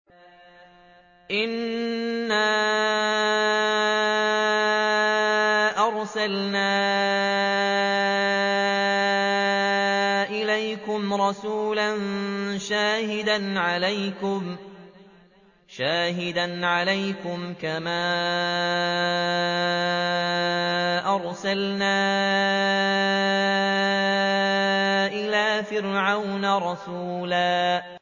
إِنَّا أَرْسَلْنَا إِلَيْكُمْ رَسُولًا شَاهِدًا عَلَيْكُمْ كَمَا أَرْسَلْنَا إِلَىٰ فِرْعَوْنَ رَسُولًا